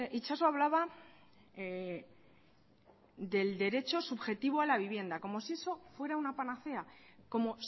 itxaso hablaba del derecho subjetivo a la vivienda como si eso fuera una panacea como